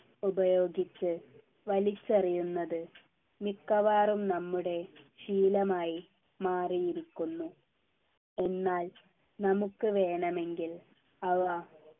ഉപയോഗിച്ച് വലിച്ചെറിയുന്നത് മിക്കവാറും നമ്മുടെ ശീലമായി മാറിയിരിക്കുന്നു എന്നാൽ നമുക്ക് വേണമെങ്കിൽ അവ